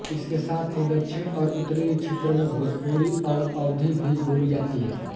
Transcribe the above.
इसके साथ ही दक्षिणी और उत्तरी क्षेत्र में भोजपुरी और अवधी भी बोली जाती है